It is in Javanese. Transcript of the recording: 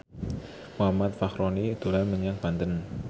Muhammad Fachroni dolan menyang Banten